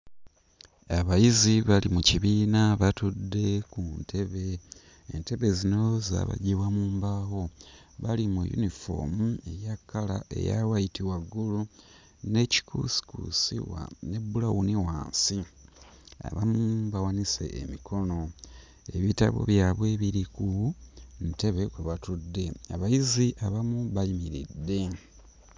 Abayizi bali mu kibiina batudde ku ntebe, entebe zino zaabajjibwa mu mbaawo, bali mu yunifoomu eya kkala eya wayiti waggulu ne kikuusikuusi wa ne bbulawuni wansi, abamu bawanise emikono, ebitabo byabwe biri ku ntebe kwe batudde, abayizi abamu bayimiridde.